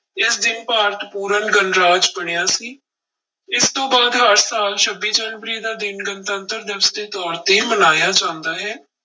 ਇਸ ਦਿਨ ਭਾਰਤ ਪੂਰਨ ਗਣਰਾਜ ਬਣਿਆ ਸੀ, ਇਸ ਤੋਂ ਬਾਅਦ ਹਰ ਸਾਲ ਛੱਬੀ ਜਨਵਰੀ ਦਾ ਦਿਨ ਗਣਤੰਤਰ ਦਿਵਸ ਦੇ ਤੌਰ ਤੇ ਮਨਾਇਆ ਜਾਂਦਾ ਹੈ।